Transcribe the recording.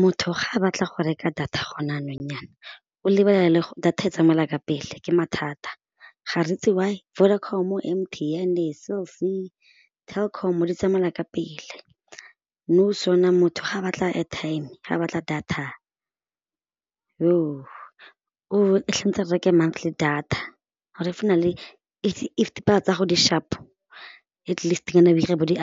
Motho ga a batla go reka data gone jaanong jaana o lebelela le gore data e tsamaela ka pele ke mathata ga re itse why, Vodacom-o, M_T_N, cell_C, Telkom di tsamaela ka pele nou motho ga batla airtime ga batla data a reke montly data gore if o na le if tsa go di sharp-o atleast-nyana o dire bo di